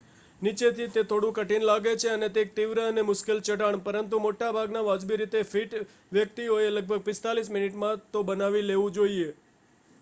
નીચેથી તે થોડું કઠિન લાગે છે અને તે એક તીવ્ર અને મુશ્કેલ ચઢાણ પરંતુ મોટા ભાગના વાજબી રીતે ફિટ વ્યક્તિઓએ લગભગ 45 મિનિટમાં તે બનાવી લેવું જોઈએ